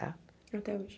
Tá Até hoje.